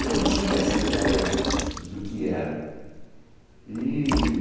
E eu não tinha essa ideia do que era.